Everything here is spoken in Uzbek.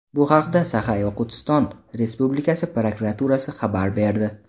Bu haqda Saxa-Yoqutiston Respublikasi prokuraturasi xabar berdi .